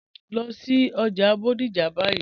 Lọ sí ọjà Bodija báyì.